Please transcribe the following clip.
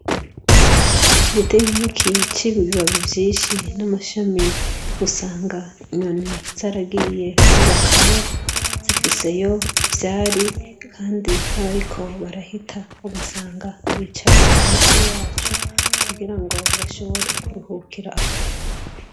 Igiti nkiki c'ibibabi vyishi n'amashami usanga inyoni zaragiye kubakayo zifiseyo ivyari kandi n'abariko barahita ugasanga bicara musi yaco kugirango bashobore kuruhukiraho.